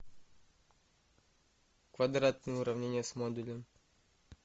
квадратные уравнения с модулем